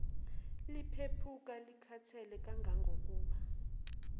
liphephuka likhathele kangangokuba